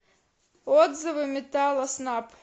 отзывы металлоснаб